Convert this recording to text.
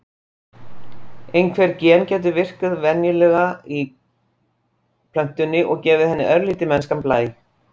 Einhver gen gætu virkað venjulega í plöntunni og gefið henni örlítinn mennskan blæ.